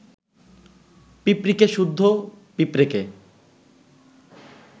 পিঁপড়ীকে সুদ্ধ পিঁপড়েকে